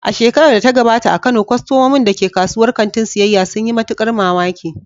A shekarar da ta gabata a Kano, kwastomomin da ke kasuwar kantin siyyaya sun yi matukar mamaki.